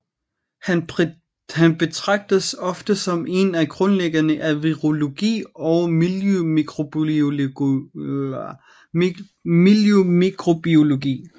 Han betragtes ofte som en af grundlæggerne af virologi og miljømikrobiologi